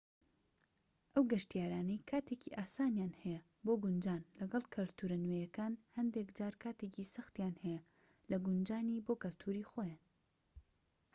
ئەو گەشتیارانەی کاتێکی ئاسانیان هەیە بۆ گونجان لەگەڵ کەلتورە نوێیەکان هەندێك جار کاتێکی سەختیان هەیە لە گونجانی بۆ کەلتوری خۆیان